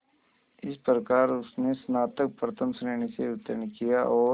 इस प्रकार उसने स्नातक प्रथम श्रेणी से उत्तीर्ण किया और